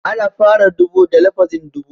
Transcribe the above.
Ana fara ɗubu da lafazin (dubu)